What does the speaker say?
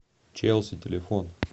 челси телефон